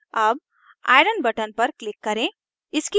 अब iron fe button पर click करें